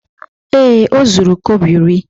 Ee, o zuru kobo iri.